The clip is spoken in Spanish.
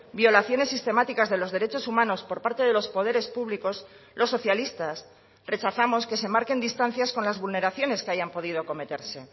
violaciones sistemáticas de los derechos humanos por parte de los poderes públicos los socialistas rechazamos que se marquen distancias con las vulneraciones que hayan podido cometerse